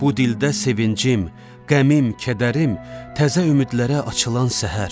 Bu dildə sevincim, qəmim, kədərim, təzə ümidlərə açılan səhər.